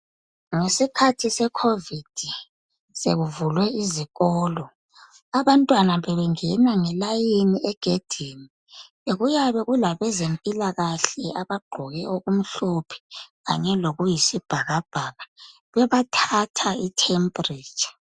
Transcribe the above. Ngesikhathi seCovid sekuvulwe izikolo abantwana bebengena nge "line" egedini kuyabe kulabezempilakahle abagqoke okumhlophe kanye lokuyisibhakabhaka bebathatha i"temperature ".